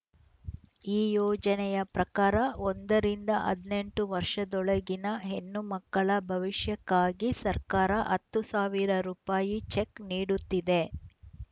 ಈ ಯೋಜನೆಯ ಪ್ರಕಾರ ಒಂದು ಹದಿನೆಂಟು ವರ್ಷದೊಳಗಿನ ಹೆಣ್ಣು ಮಕ್ಕಳ ಭವಿಷ್ಯಕ್ಕಾಗಿ ಸರ್ಕಾರ ಹತ್ತು ಸಾವಿರ ರೂಪಾಯಿ ಚೆಕ್‌ ನೀಡುತ್ತಿದೆ